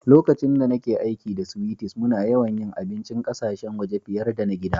Lokacin da nake aiki da sweeties, muna yawan yi abincin ƙasashen waje fiyar da na gida.